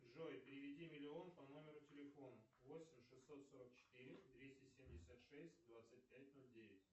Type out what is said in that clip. джой переведи миллион по номеру телефона восемь шестьсот сорок четыре двести семьдесят шесть двадцать пять ноль девять